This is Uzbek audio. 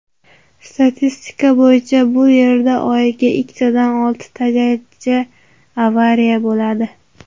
Statistika bo‘yicha bu yerda oyiga ikkitadan oltitagacha avariya bo‘ladi.